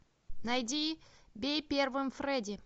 найди бей первым фредди